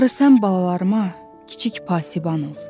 Barı sən balalarıma kiçik pasiban ol.